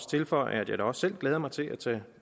tilføje at jeg da også selv glæder mig til at tage